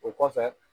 O kɔfɛ